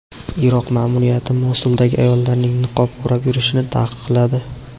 Iroq ma’muriyati Mosuldagi ayollarning niqob o‘rab yurishini taqiqladi.